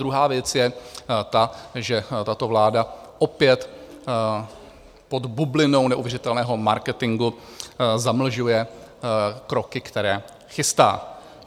Druhá věc je ta, že tato vláda opět pod bublinou neuvěřitelného marketingu zamlžuje kroky, které chystá.